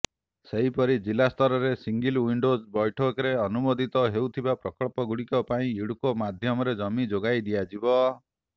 ସେହିପରି ଜିଲ୍ଲାସ୍ତରରେ single window ବୈଠକରେ ଅନୁମୋଦିତ ହେଉଥିବା ପ୍ରକଳ୍ପଗୁଡ଼ିକ ପାଇଁ ଇଡ଼କୋ ମାଧ୍ୟମରେ ଜମି ଯୋଗାଇ ଦିଆଯିବ